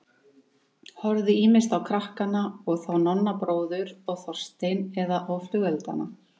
Horfði ýmist á krakkana og þá Nonna bróður og Þorstein eða á flugeldana.